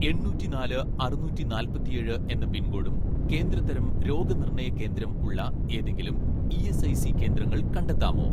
എണ്ണൂറ്റിനാല് അറുനൂറ്റി നാല്പത്തിയേഴ് എന്ന പിൻകോഡും കേന്ദ്ര തരം രോഗനിർണയ കേന്ദ്രം ഉള്ള ഏതെങ്കിലും ഇ.എസ്.ഐ.സി കേന്ദ്രങ്ങൾ കണ്ടെത്താമോ